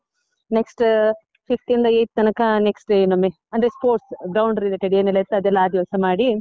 next ಅ fifth ಇಂದ eight ತನಕ next day ಇನ್ನೊಮ್ಮೆ, ಅಂದ್ರೆ sports ground related ಏನೆಲ್ಲ ಇರ್ತದೆಲ್ಲ ಆ ದಿವಸ ಮಾಡಿ.